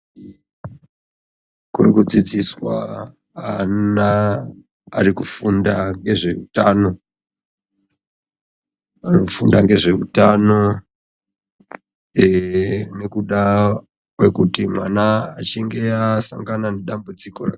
Kurirkudzidziswa ana arikufunda ngezveutano anofunda ngezveutano nekuda kwekuti mwana achinge asangana nedambudziko.